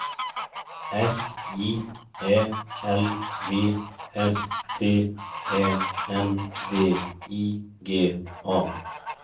S J Ä L V S T Ä N D I G A